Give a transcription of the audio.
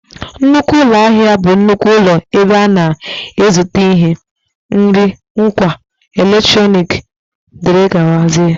nnukwu ụlọ ahịa bụ nnukwu ụlọ ebe a na-azụta ihe, nri, ngwa eletrọnịkị wdg